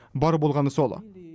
бар болғаны сол